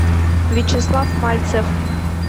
вячеслав мальцев